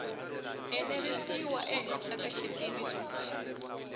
enerisiwa ehenhla ka xitiviso lexi